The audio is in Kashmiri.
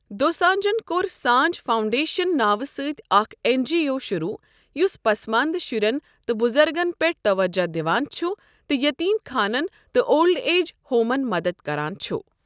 دوسانجھَن کوٚر سانجھ فاؤنڈیشن ناوٕ سۭتۍ اکھ این جی او شروع، یس پسماندٕ شرٮ۪ن تہٕ بُزرگَؔن پٮ۪ٹھ توجہ دِوان چُھ تہٕ یتیٖم خانَن تہٕ اولڈ ایج ہومَن مدد کران چُھ ۔